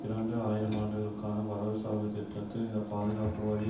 இரண்டு ஆயிரம் ஆண்டுக்கான வரவு செலவு திட்டத்தில் இந்த பாதுகாப்பு வரி